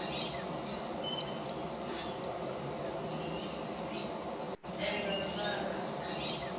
endzambyana